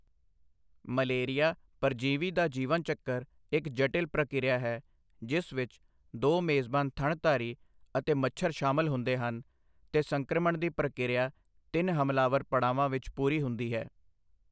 Malaria ਪਰਜੀਵੀ ਦਾ ਜੀਵਨ ਚੱਕਰ ਇੱਕ ਜਟਿਲ ਪ੍ਰਕਿਰਿਆ ਹੈ ਜਿਸ ਵਿੱਚ ਦੋ ਮੇਜ਼ਬਾਨ ਥਣਧਾਰੀ ਅਤੇ ਮੱਛਰ ਸ਼ਾਮਲ ਹੁੰਦੇ ਹਨ ਤੇ ਸੰਕ੍ਰਮਣ ਦੀ ਪ੍ਰਕਿਰਿਆ ਤਿੰਨ ਹਮਲਾਵਰ ਪੜਾਵਾਂ ਵਿੱਚ ਪੂਰੀ ਹੁੰਦੀ ਹੈ।